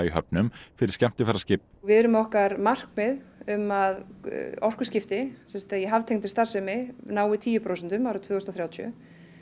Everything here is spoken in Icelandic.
höfnum fyrir skemmtiferðaskip við erum með okkar markmið um að orkuskipti í haftengdri starfsemi nái tíu prósentum árið tvö þúsund og þrjátíu